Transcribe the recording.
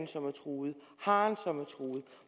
som er truet